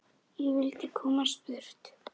Ég vildi komast burt.